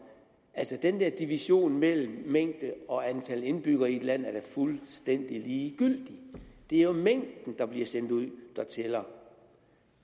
altså den der division mellem mængde og antal indbyggere i et land er da fuldstændig ligegyldigt det er jo mængden der bliver sendt ud der tæller